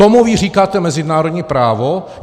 Tomu vy říkáte mezinárodní právo?